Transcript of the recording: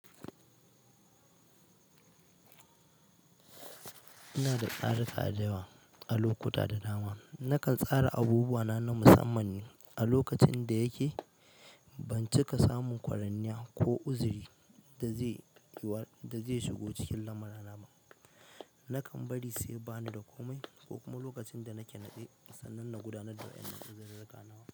Ina da tsare tsare dayawa a lokuta da dama. Nakan tsara abubuwana na musamman a lokacin da yake ban cika samun kwaranniya ko uzuri da zai shigo cikin lamura na ba nakan bari sai bani da komai ko kuma lokacin da nake naɗe sannan na gudanar da wa'inan da uzururruka nawa.